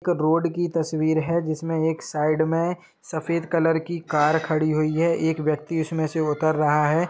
एक रोड की तस्वीर है जिसमें एक साइड में सफ़ेद कलर की कार खड़ी हुई है एक व्यक्ति उसमें से उतर रहा है।